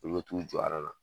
Olu bɛ t'u jɔ na